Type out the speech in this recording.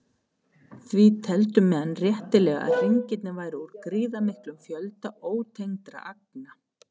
Því töldu menn réttilega að hringirnir væru úr gríðarmiklum fjölda ótengdra agna.